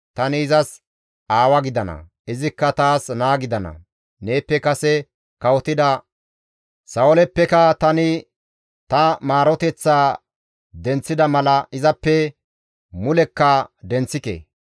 Tani izas aawa gidana; izikka taas naa gidana; neeppe kase kawotida Sa7ooleppe tani ta maaroteththaa denththida mala izappe mulekka denththike.